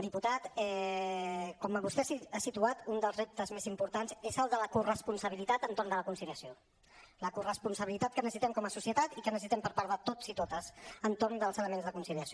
diputat com vostè ha situat un dels reptes més importants és el de la corresponsabilitat entorn de la conciliació la corresponsabilitat que necessitem com a societat i que necessitem per part de tots i totes entorn dels elements de conciliació